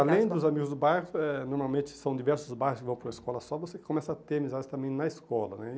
Além dos amigos do bairro, eh normalmente são diversos bairros que vão para uma escola só, você começa a ter amizades também na escola, né?